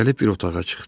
Gəlib bir otağa çıxdı.